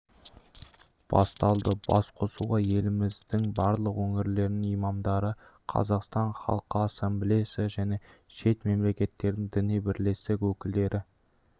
басталды басқосуға еліміздің барлық өңірлерінің имамдары қазақстан халқы ассамблеясы және шет мемлекеттердің діни бірлестік өкілдері